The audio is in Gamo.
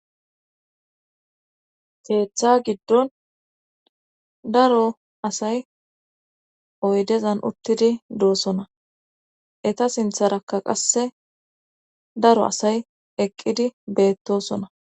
Keeththa giddon daro asay oydezan uttidi doosona eta sintharakka qasse daro asay eqqidi beettosona